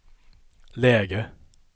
läge